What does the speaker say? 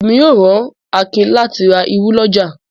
Ẹmi ó rán Àkín láti rà irù lọ́jà.